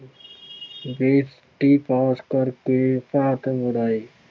ਪਾਸ ਕਰਕੇ ਭਾਰਤ ਮੁੜ ਆਏ।